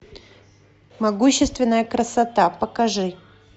могущественная красота покажи